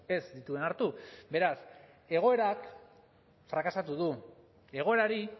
ez dituen hartu beraz egoerak frakasatu du egoerari